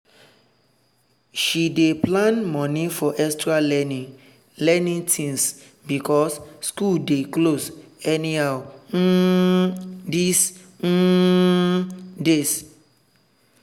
she dey plan money for extra learning learning things because school dey close anyhow um these um days.